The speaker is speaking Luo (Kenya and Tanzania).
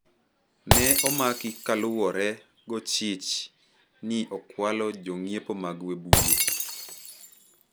Ne omaki kaluwore go chich ni okwalo jang'iepo mag Webuye